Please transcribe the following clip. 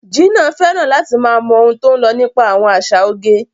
Gina fẹ́ràn láti máa mọ ohun tó ń lọ nípa àwọn àṣà oge.